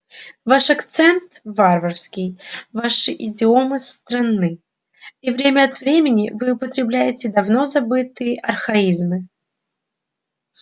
ваш акцент варварский ваши идиомы странны и время от времени вы употребляете давно забытые архаизмы